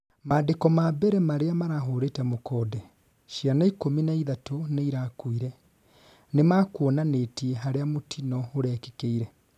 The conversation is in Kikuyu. mandĩko ma mbere maria marahurĩte mũkonde ciana ikũmi na ĩthatũ nĩirakuire, nĩmakuonanĩtie haria mũtino ũrekĩkĩire